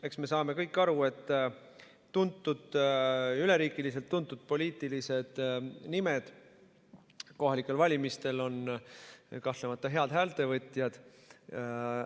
Eks me saame kõik aru, et üleriigiliselt tuntud poliitilised nimed on kohalikel valimistel kahtlemata head häältevõtjad.